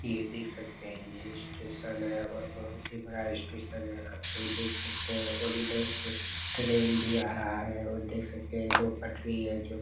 ये देख सकते है ये स्टेशन है और बहुत ही बड़ा स्टेशन है आप लोग देख सकते है और उधर से ट्रैन भी आ रहा है और देख सकते है इन दो पटरी है जो--